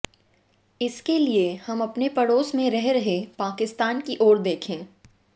इसके लिए हम अपने पड़ोस में रह रहे पाकिस्तान की ओर देखें